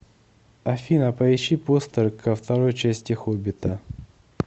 афина поищи постер ко второи части хоббита